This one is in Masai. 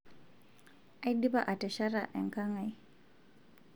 aidipa atesheta enkang ai